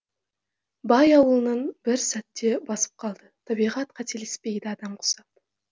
бай ауылын бір сәтте басып қалды табиғат қателеспейді адам құсап